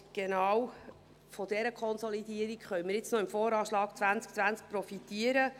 Von genau dieser Konsolidierung konnten wir beim VA 2020 profitieren.